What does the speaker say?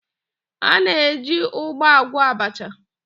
A na-eji ụgba agwọ abacha.